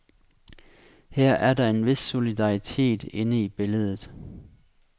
Her er der en vis solidaritet inde i billedet.